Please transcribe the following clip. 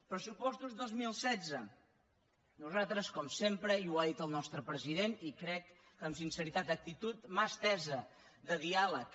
pressupostos dos mil setze nosaltres com sempre i ho ha dit el nostre president i crec que amb sinceritat d’actitud mà estesa de diàleg